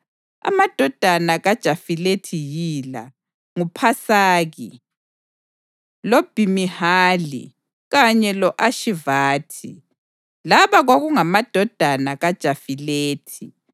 Amadodana kaJafilethi yila: nguPasaki, loBhimihali kanye lo-Ashivathi. Laba kwakungamadodana kaJafilethi.